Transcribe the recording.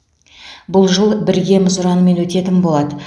бұл жыл біргеміз ұранымен өтетін болады